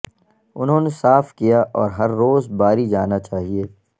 انہوں نے صاف کیا اور ہر روز باری جانا چاہئے